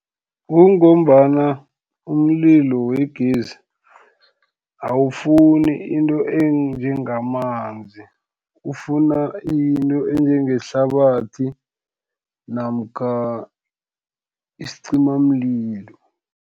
Kungombana umlilo wegezi, awufuni into enjengamanzi, ufuna into enjengehlabathi, namkha isicimamlilo.